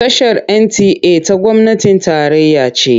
Tashar NTA ta gwamnatin tarayya ce.